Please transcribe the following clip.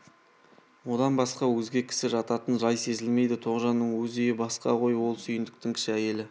одан басқа өзге кісі жататын жай сезілмейді тоғжанның өз үйі басқа ғой ол сүйіндіктің кіші әйелі